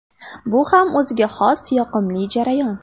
Bu ham o‘ziga xos yoqimli jarayon.